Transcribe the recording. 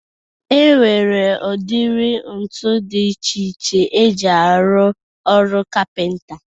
E nwere udiri ntu dị iche iche eji arụ ọrụ kapịnta